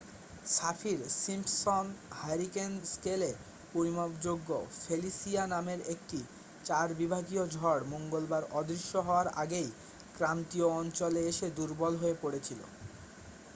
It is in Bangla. সাফির-সিম্পসন হ্যারিকেন স্কেলে পরিমাপযোগ্য ফেলিসিয়া নামের একটি 4 বিভাগীয় ঝড় মঙ্গলবার অদৃশ্য হওয়ার আগেই ক্রান্তীয় অঞ্চলে এসে দুর্বল হয়ে পড়েছিল